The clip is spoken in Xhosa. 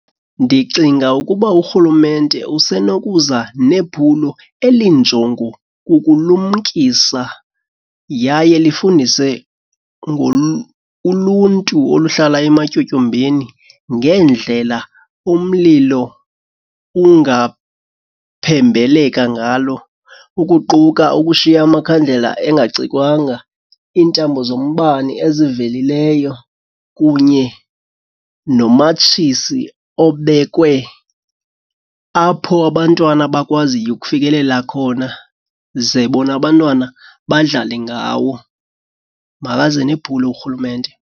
Ndicinga ukuba urhulumente usenokuza nephulo elinjongo ukulumkisa yaye lifundise uluntu oluhlala ematyotyombeni ngendlela umlilo ungaphembeleka ngalo. Ukuquka ukushiya amakhandlela engacikwanga, iintambo zombane ezivelileyo kunye nomatshisi obekwe apho abantwana abakwaziyo ukufikelela khona ze bona abantwana badlale ngawo. Makaze nephulo urhulumente.